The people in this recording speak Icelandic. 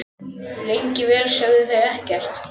Lengi vel sögðu þau ekkert.